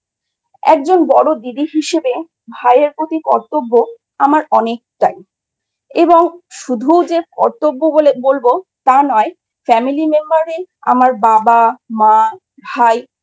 একজন বড়ো দিদি হিসাবে ভাইয়ের প্রতি কর্তব্য আমার অনেকটাই এবং শুধু যে কর্তব্য বলব তা নয় Family Member এ আমার বাবা, মা, ভাই